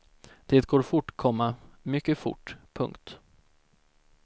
Det går fort, komma mycket fort. punkt